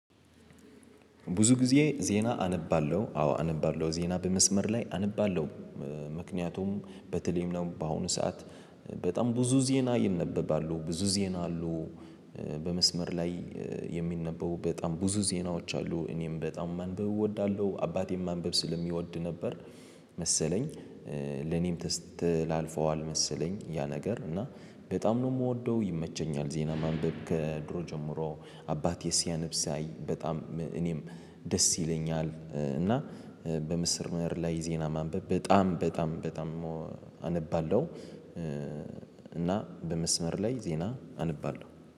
ብዙ ጊዜ ዜና አነባለሁ አዎ አነባለሁ ዜና በመስመር ላይ አነባለሁ። ምክንያቱም በተለይም ነው በአሁኑ ሰዓት በጣም ብዙ ዜና ይነበባሉ ብዙ ዜና አሉ። በመስመር ላይ የሚነበቡ በጣም ብዙ ዜናዎች አሉ። እኔም በጣም ማንበብ እወዳለሁ አባቴም ማንበብ ስለሚወድ ነበር። መሰለኝ ለኔም ተስተላልፈዋል መሰለኝ። ያ ነገር እና በጣም ነው የምወደው። ይመቸኛል ዜና ማንበብ ከድሮ ጀምሮ። አባቴ ሲያነብ ሳይ በጣም እኔም ደስ ይለኛል። እና በምስመር ላይ ዜና ማንበብ በጣም በጣም በጣም አነባለሁ። እና በመስመር ላይ ዜና አነባለሁ